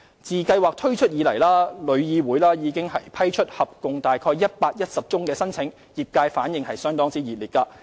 自計劃推出以來，旅議會已批出合共約宗申請，業界反應熱烈。